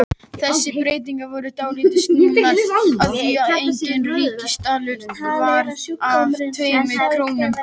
Þessi breyting var dálítið snúin af því að einn ríkisdalur varð að tveimur krónum.